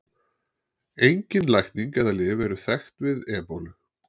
Engin lækning eða lyf eru þekkt við ebólu.